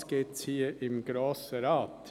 Auch dies gibt es hier im Grossen Rat.